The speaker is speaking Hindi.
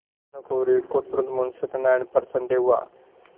भानुकुँवरि को तुरन्त मुंशी सत्यनारायण पर संदेह हुआ